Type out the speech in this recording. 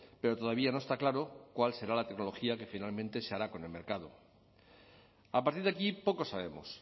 pero todavía no está claro cuál será la tecnología que finalmente se hará con el mercado a partir de aquí poco sabemos